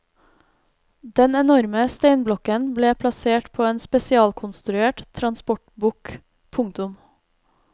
Den enorme steinblokken ble plassert på en spesialkonstruert transportbukk. punktum